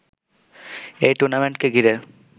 এই টুর্নামেন্টকে ঘিরে